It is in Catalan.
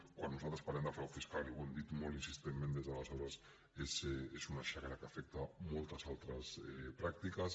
quan nosaltres parlem de frau fiscal i ho hem dit molt insistentment des d’aleshores és una xacra que afecta a moltes altres pràctiques